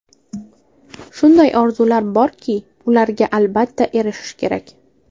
Shunday orzular borki, ularga albatta erishish kerak.